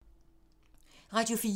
Radio 4